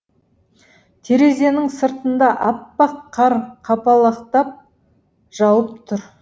терезенің сыртында әппақ қар қапалақтап жауып тұр